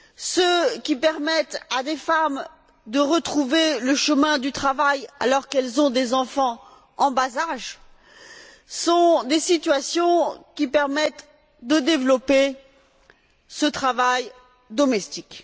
ceux qui permettent à des femmes de retrouver le chemin du travail alors qu'elles ont des enfants en bas âge, correspondent à des situations qui permettent de développer ce travail domestique.